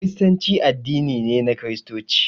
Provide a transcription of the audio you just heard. Kiristanci addini ne na Kiristoci